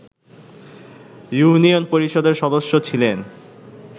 union পরিষদের সদস্য ছিলেন